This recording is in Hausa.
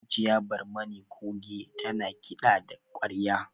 Hajiya Barmani Coge ta na kiɗa da ƙwarya